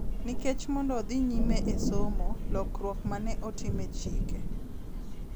Nikech mondo odhi nyime e somo, lokruok ma ne otim e chike,